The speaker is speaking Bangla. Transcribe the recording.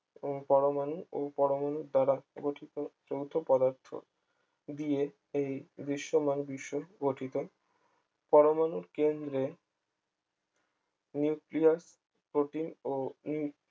উম পরমাণু ও পরমাণু দ্বারা গঠিত যৌথ পদার্থ দিয়ে এই দৃশ্যমান বিশ্ব গঠিত পরমাণুর কেন্দ্রে নিউক্লিয়াস প্রোটিন ও